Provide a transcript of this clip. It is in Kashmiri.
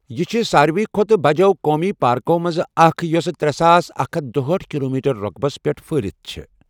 یہِ چھےٚ سارِوٕیہ کھۄتہٕ بَجو قومی پارکو منٛزٕ اَکھ، یۄسہٕ ترے ساس اکھ ہتھَ دُہاٹھ کِلومیٖٹر رۄقبَس پیٹھ پھہلِتھ چھےٚ۔